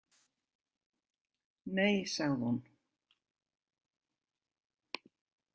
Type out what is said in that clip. Nei, sagði hún.